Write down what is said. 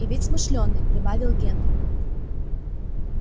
и ведь смышлёный прибавил генри